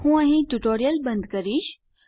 હું અહીં ટ્યુટોરીયલ બંધ કરીશ